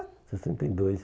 sessenta e dois.